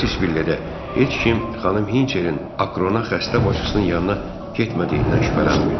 Otis Villedə heç kim xanım Hinçerin Akrona xəstə bacısının yanına getmədiyindən şübhələnmirdi.